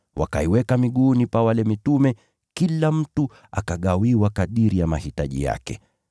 wakaiweka miguuni pa mitume, kila mtu akagawiwa kadiri ya mahitaji yake.